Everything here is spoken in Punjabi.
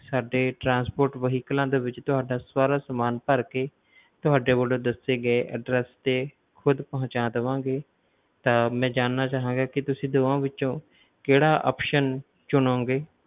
ਸਾਡੇ transport vehicles ਦੇ ਵਿੱਚ ਤੁਹਾਡਾ ਸਾਰਾ ਸਮਾਨ ਭਰ ਕੇ ਤੁਹਾਡੇ ਵੱਲੋ ਦੱਸੇ ਗਏ address ਤੇ ਖੁਦ ਪਹੁੰਚਾ ਦੇਵਾਂਗੇ, ਤਾਂ ਮੈਂ ਜਾਨਣਾ ਚਾਹਾਂਗਾ ਕਿ ਤੁਸੀ ਦੋਵਾਂ ਵਿੱਚੋਂ ਕਿਹੜਾ option ਚੁਣੋਂਗੇ